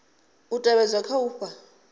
u tevhedzwa kha u fha